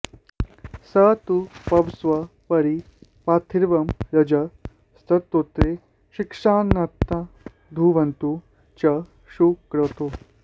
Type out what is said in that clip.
स तू पवस्व परि पार्थिवं रजः स्तोत्रे शिक्षन्नाधून्वते च सुक्रतो